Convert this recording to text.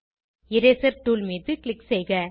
eraser tool மீது click செய்க